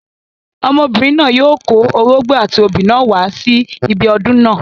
Ọmọbìnrin náà yóò kó orógbó, àti obì náà wá sí ibi ọdún náà.